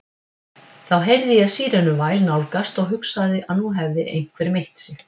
Þá heyrði ég sírenuvæl nálgast og hugsaði að nú hefði einhver meitt sig.